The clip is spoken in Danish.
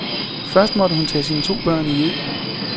Først måtte hun tage sine to børn i ed.